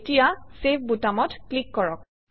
এতিয়া চেভ বুটামত ক্লিক কৰক